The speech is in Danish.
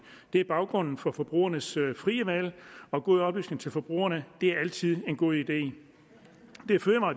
er baggrunden for forbrugernes frie valg og god oplysning til forbrugerne er altid en god idé